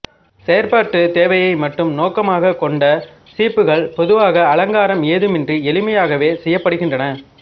செயற்பாட்டுத் தேவையை மட்டும் நோக்கமாகக் கொண்ட சீப்புக்கள் பொதுவாக அலங்காரம் எதுவுமின்றி எளிமையாகவே செய்யப்படுகின்றன